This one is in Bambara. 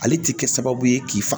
Ale ti kɛ sababu ye k'i fa